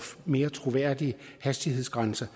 mere troværdige hastighedsgrænser